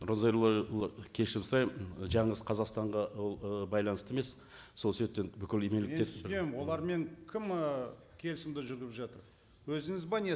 нұрлан зайроллаұлы кешірім сұраймын жалғыз қазақстанға ол ы байланысты емес сол себептен бүкіл мен түсінемін олармен кім ы келісімді жүргізіп жатыр өзіңіз бе не